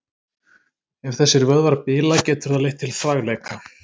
Ef þessir vöðvar bila getur það leitt til þvagleka.